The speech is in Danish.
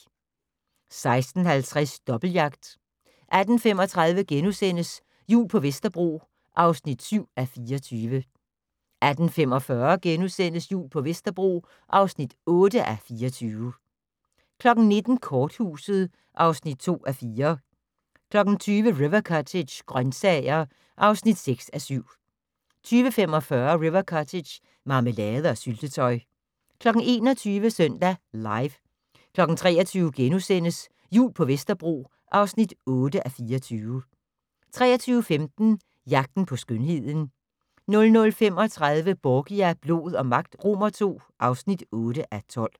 16:50: Dobbeltjagt 18:35: Jul på Vesterbro (7:24)* 18:45: Jul på Vesterbro (8:24) 19:00: Korthuset (2:4) 20:00: River Cottage - grøntsager (6:7) 20:45: River Cottage - marmelade og syltetøj 21:00: Søndag Live 23:00: Jul på Vesterbro (8:24)* 23:15: Jagten på skønheden 00:35: Borgia - blod og magt II (8:12)